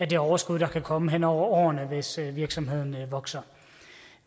det overskud der kan komme hen over årene hvis virksomheden vokser